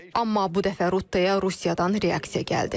Amma bu dəfə Rutteya Rusiyadan reaksiya gəldi.